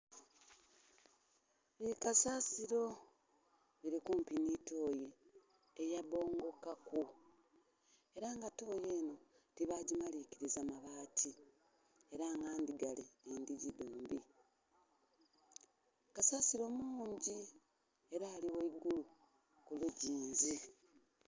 Bikasasiro, biri kumpi nitooyi eyabbongokaku era nga tooyi Eno tebagyimalinkiriza mabaati era nga ndhigare edhigyi dhombi, kasasiro mungyi era ari ghayiguru kuluzingyi